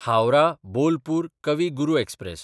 हावराह–बोलपूर कवी गुरू एक्सप्रॅस